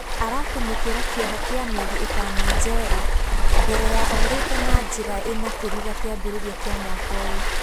Aratũmĩkĩra kĩoho kĩa mĩeri ĩtano njera mbere ya orĩte na njĩra ĩna kĩriga kĩambĩrĩria kĩa mwaka ũyũ.